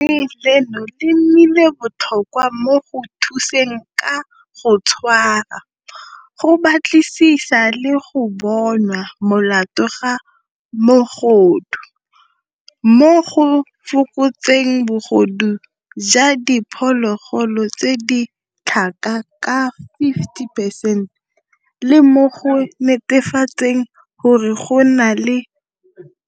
Leno le nnile botlhokwa mo go thuseng ka go tshwara, go batlisisa le go bonwa molato ga mogodu, mo go fokotseng bogodu jwa di phologolo tse di tlhaga ka 50 percent, le mo go netefatseng gore go nna le